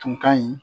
Tun ka ɲi